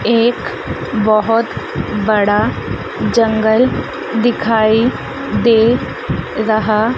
एक बहोत बड़ा जंगल दिखाई दे रहा--